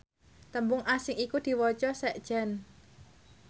tembung asing iku diwaca sekjen